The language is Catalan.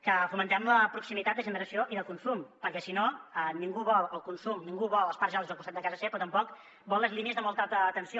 que fomentem la proximitat de generació i de consum perquè si no ningú vol el consum ningú vol els parcs eòlics al costat de casa seva però tampoc vol les línies de molta alta tensió